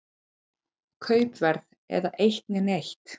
Kaupverð eða eitt né neitt.